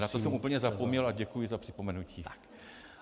Na to jsem úplně zapomněl a děkuji za připomenutí.